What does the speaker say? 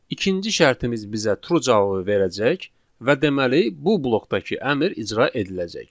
İkinci şərtimiz bizə true cavabı verəcək və deməli, bu blokdakı əmr icra ediləcək.